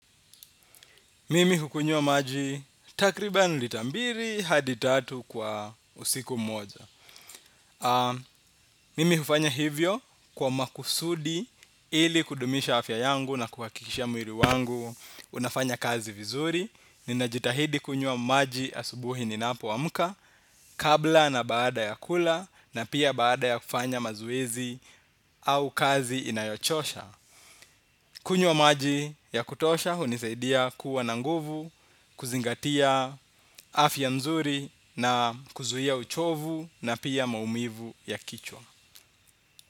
Mimi hukunywa maji takriban lita mbili hadi tatu kwa usiku moja. Mimi hufanya hivyo kwa makusudi ili kudumisha afya yangu na kuhakikisha mwili wangu unafanya kazi vizuri, ninajitahidi kunywa maji asubuhi ninapoamka kabla na baada ya kula na pia baada ya kufanya mazoezi au kazi inayochosha. Kunywa maji ya kutosha hunisaidia kuwa na nguvu, kuzingatia afya nzuri na kuzuia uchovu na pia maumivu ya kichwa.